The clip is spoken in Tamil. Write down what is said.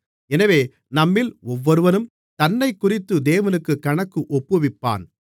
எனவே நம்மில் ஒவ்வொருவனும் தன்னைக்குறித்து தேவனுக்குக் கணக்கு ஒப்புவிப்பான்